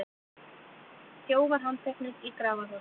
Þjófar handteknir í Grafarholti